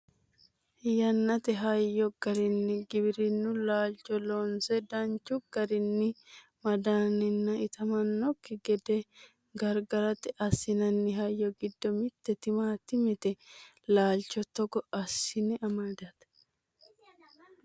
yannate hayyo garinni giwirinnu laalcho loonse danchu garinni mandanninna itamannokki gede gargarate assinanni hayyo giddo mitte timaatimete laalcho togo assine amadate